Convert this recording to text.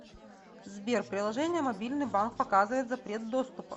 сбер приложение мобильный банк показывает запрет доступа